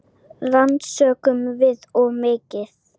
Rannsökum við of mikið?